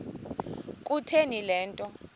kutheni le nto